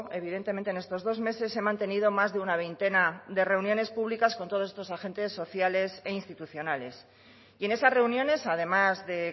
evidentemente en estos dos meses he mantenido más de una veintena de reuniones públicas con todos estos agentes sociales e institucionales y en esas reuniones además de